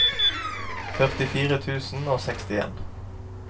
førtifire tusen og sekstien